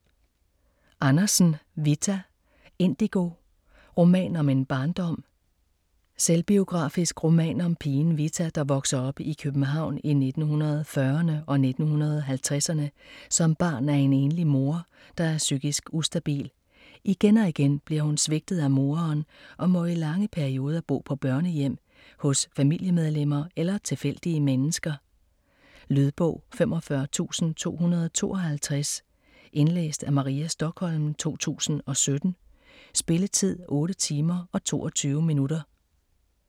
Andersen, Vita: Indigo: roman om en barndom Selvbiografisk roman om pigen Vita, der vokser op i København i 1940'erne og 1950'erne som barn af en enlig mor, der er psykisk ustabil. Igen og igen bliver hun svigtet af moderen og må i lange perioder bo på børnehjem, hos familiemedlemmer eller tilfældige mennesker. Lydbog 45252 Indlæst af Maria Stokholm, 2017. Spilletid: 8 timer, 22 minutter.